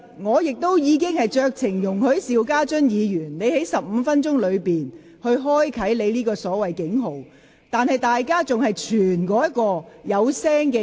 我剛才已酌情容許邵家臻議員在其15分鐘發言時間內響起他所謂的"警號"，但隨後卻有議員互相拋傳另一個發聲裝置。